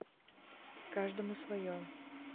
каждому свое